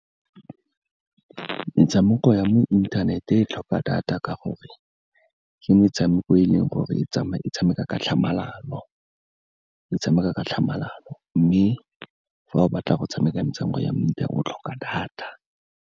Metshameko ya mo inthanet e tlhoka data, ka gore ke metshameko e leng gore e tshameka ka tlhamalalo, mme fa o batla go tshameka metshameko ya mefuta o, o tlhoka data.